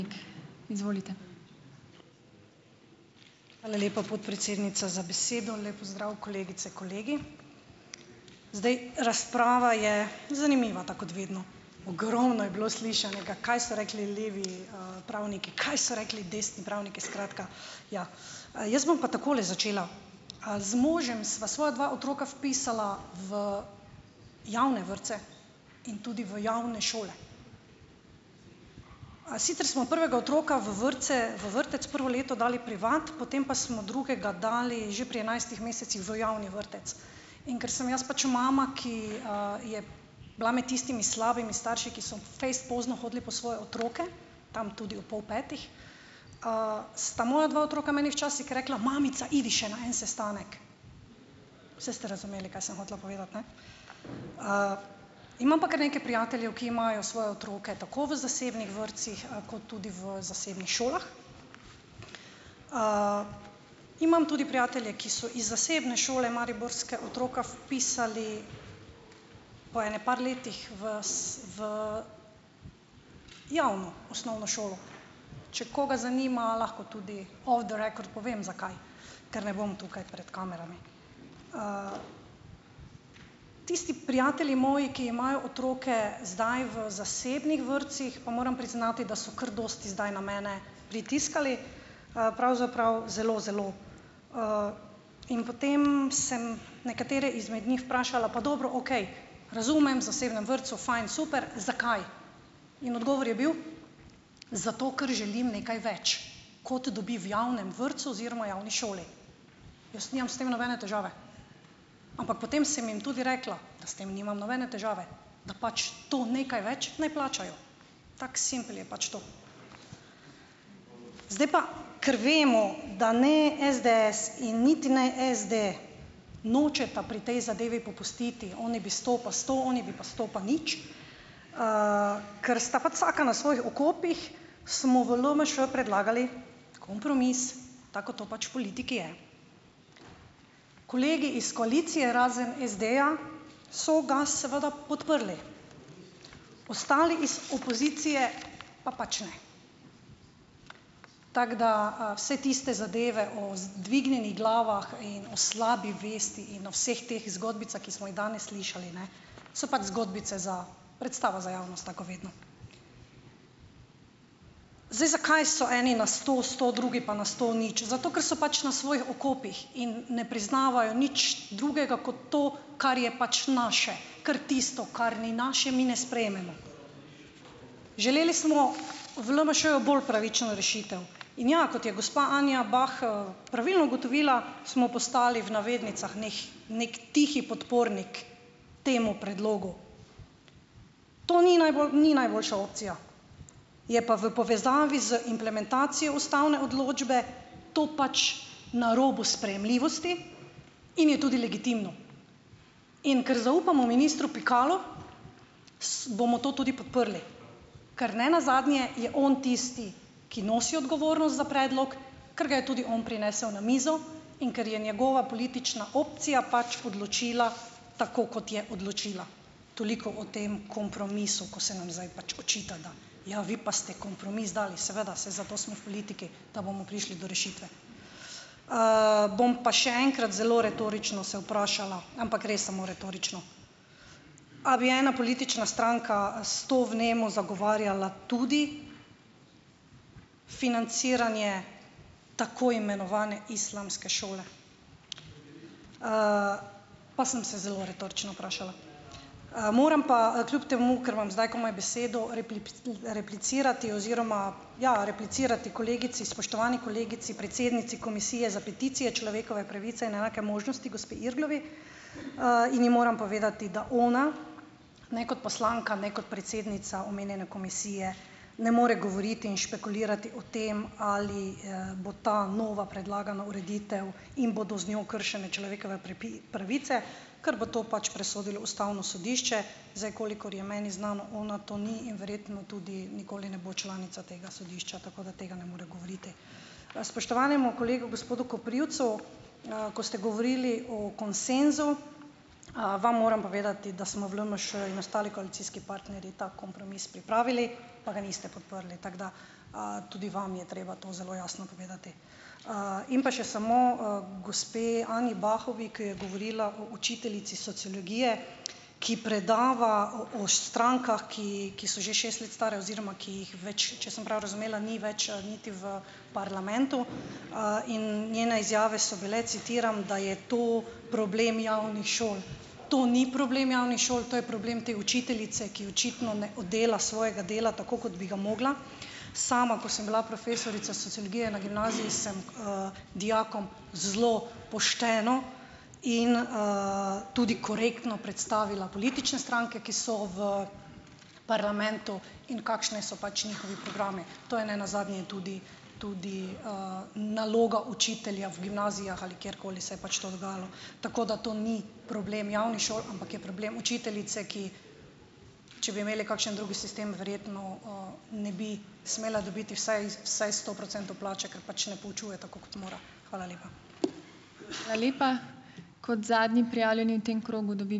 Izvolite. Hvala lepa, podpredsednica, za besedo, lep pozdrav kolegice in kolegi. Zdaj, razprava je zanimiva tako kot vedno, ogromno je bilo slišanega, kaj so rekli levi, pravniki, kaj so rekli desni pravniki, skratka, ja, jaz bom pa takole začela. Z možem sva svoja dva otroka vpisala v javne vrtce in tudi v javne šole, a sicer smo prvega otroka v vrtce, v vrtec prvo leto dali privat, potem pa smo drugega dali že pri enajstih mesecih v javni vrtec, in ker sem jaz pač mama, ki, je bila med tistimi slabimi starši, ki so fejst pozno hodili po svoje otroke, tam tudi ob pol petih, sta moja dva otroka meni včasih rekla: "Mamica pojdi še na en sestanek." Saj ste razumeli, kaj sem hotela povedati, ne, imam pa kar nekaj prijateljev, ki imajo svoje otroke tako v zasebnih vrtcih kot tudi v zasebnih šolah, imam tudi prijatelje, ki so iz zasebne šole mariborske otroka vpisali po ene par letih v javno osnovno šolo, če koga zanima lahko tudi off the record povem, zakaj, ker ne bom tukaj pred kamerami, tisti prijatelji moji, ki imajo otroke zdaj v zasebnih vrtcih, pa moram priznati, da so kar dosti zdaj na mene pritiskali, pravzaprav zelo zelo, in potem sem nekatere izmed njih vprašala: "Pa dobro, okej, razumem v zasebnem vrtcu fajn super, zakaj?" In odgovor je bil: "Zato ker želim nekaj več, kot dobi v javnem vrtcu oziroma javni šoli." Jaz nimam s tem nobene težave, ampak potem sem jim tudi rekla, da s tem nimam nobene težave, da pač to nekaj več naj plačajo, tako simpel je pač to. Zdaj pa, kar vemo, da ne SDS in niti ne SDS nočeta pri tej zadevi popustiti, oni bo sto pa sto, oni bi pa sto pa nič, ker sta pač vsaka na svojih okopih, smo v LMŠ predlagali kompromis, tako kot to pač v politiki je, kolegi iz koalicije razen SD-ja so ga seveda podprli, ostali iz opozicije pa pač ne, tako da vse tiste zadeve o dvignjenih glavah in o slabi vesti in o vseh teh zgodbicah, ki smo jih danes slišali, ne, so pač zgodbice za, predstava za javnost, tako kot vedno. Zdaj, zakaj so eni na sto sto drugi pa na sto nič? Zato ker so pač na svojih okopih in ne priznavajo nič drugega kot to, kar je pač naše, ker tisto, kar ni naše, mi ne sprejmemo. Želeli smo v LMŠ bolj pravično rešitev, in, ja, kot je gospa Anja Bah pravilno ugotovila, smo postali v navednicah nih neki tihi podpornik temu predlogu, to ni ni najboljša opcija, je pa v povezavi z implementacijo ustavne odločbe to pač na robu sprejemljivosti in je tudi legitimno. In ker zaupamo ministru Pikalu, bomo to tudi podprli, ker nenazadnje je on tisti, ki nosi odgovornost za predlog, ker ga je tudi on prinesel na mizo in ker je njegova politična opcija pač odločila, tako kot je odločila, toliko o tem kompromisu, ko se nam zdaj pač očita, da ja, vi pa ste kompromis dali. Seveda, saj zato smo v politiki, da bomo prišli do rešitve, bom pa še enkrat zelo retorično se vprašala, ampak res samo retorično, a bi ena politična stranka s to vnemo zagovarjala tudi financiranje tako imenovane islamske šole. pa sem se zelo retorično vprašala, moram pa kljub temu, ker imam zdaj komaj besedo replicirati oziroma, ja, replicirati kolegici spoštovani kolegici predsednici komisije za peticije človekove pravice in enake možnosti gospe Irglovi, in ji moram povedati, da ona ne kot poslanka ne kot predsednica omenjene komisije ne more govoriti in špekulirati o tem, ali, bo ta nova predlagana ureditev in bodo z njo kršene človekove pravice, ker bo to pač presodilo ustavno sodišče. Zdaj, kolikor je meni znano, ona to ni in verjetno tudi nikoli ne bo članica tega sodišča, tako da tega ne more govoriti. Spoštovanemu kolegu gospodu Koprivcu, ko ste govorili o konsenzu, vam moram povedati, da smo v LMŠ in ostali koalicijski partnerji ta kompromis pripravili, pa ga niste podprli, tako da, tudi vam je treba to zelo jasno povedati, in pa še samo, gospe Anji Bahovi, ki je govorila o učiteljici sociologije, ki predava o o strankah, ki, ki so že šest let stare oziroma, ki jih več, če sem prav razumela, ni več, niti v parlamentu, in njene izjave so bile, citiram: "Da je to problem javnih šol." To ni problem javnih šol, to je problem te učiteljice, ki očitno ne oddela svojega dela, tako kot bi ga mogla, sama, ko sem bila profesorica sociologije na gimnaziji, sem, dijakom zelo pošteno in, tudi korektno predstavila politične stranke, ki so v parlamentu, in kakšni so pač njihovi programi, to je nenazadnje tudi tudi, naloga učitelja v gimnazijah, ali kjerkoli se je pač to dogajalo, tako da to ni problem javnih šol, ampak je problem učiteljice, ki če bi imeli kakšen drugi sistem, verjetno, ne bi smela dobiti vsaj vsaj sto procentov plače, ker pač ne poučuje, tako kot mora. Hvala lepa. Hvala lepa, kot zadnji prijavljeni v tem krogu dobi ...